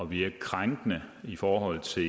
virke krænkende i forhold til